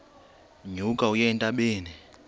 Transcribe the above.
nyuka uye entabeni